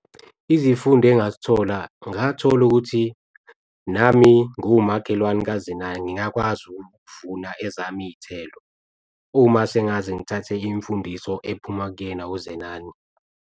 Izifundo engazithola, ngathola ukuthi nami nguwumakhelwane kaZenani ngingakwazi ukuvuna ezama iy'thelo. Uma sengaze ngithathe imfundiso ephuma kuyena uZenani.